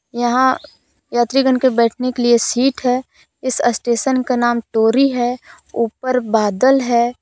यहां यात्रीगण के बैठने के लिए सीट है इस असटेशन का नाम तोरी है ऊपर बादल है।